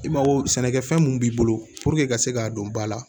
I mago sɛnɛkɛfɛn mun b'i bolo i ka se k'a dɔn ba la